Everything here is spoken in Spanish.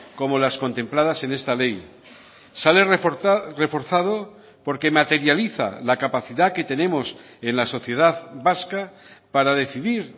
como las contempladas en esta ley sale reforzado porque materializa la capacidad que tenemos en la sociedad vasca para decidir